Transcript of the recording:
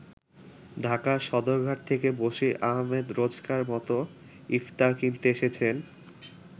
ঢাকার সদরঘাট থেকে বসির আহমেদ রোজকার-মত ইফতার কিনতে এসেছেন।